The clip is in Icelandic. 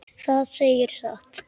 Það segirðu satt.